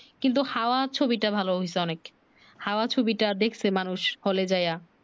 কিন্তু হাওয়া ছবি টা ভালো হয়ছে অনেক হাওয়া ছবি টা দেখছে মানুষ হলে যাইয়া